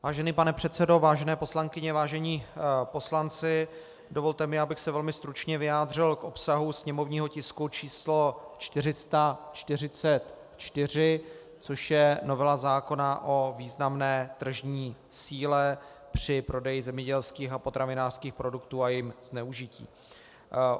Vážený pane předsedo, vážené poslankyně, vážení poslanci, dovolte mi, abych se velmi stručně vyjádřil k obsahu sněmovního tisku číslo 444, což je novela zákona o významné tržní síle při prodeji zemědělských a potravinářských produktů a jejím zneužití.